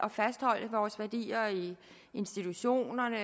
at fastholde vores værdier i institutionerne